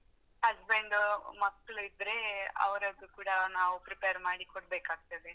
Husband ಮಕ್ಕ್ಳಿದ್ರೇ ಅವರದ್ದು ಕೂಡಾ ನಾವು prepare ಮಾಡಿ ಕೊಡ್ಬೇಕಾಗ್ತದೆ.